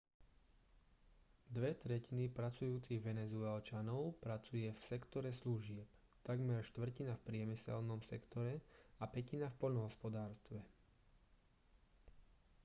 dve tretiny pracujúcich venezuelčanov pracuje v sektore služieb takmer štvrtina v priemyselnom sektore a pätina v poľnohospodárstve